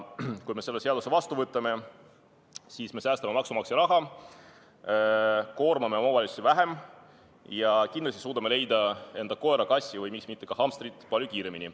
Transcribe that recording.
Kui me selle seaduse vastu võtame, siis me säästame maksumaksja raha, koormame omavalitsusi vähem ja kindlasti suudame leida enda koera-kassi või miks mitte ka hamstri palju kiiremini.